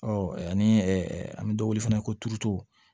ani an bɛ dɔ wele fana ko turuto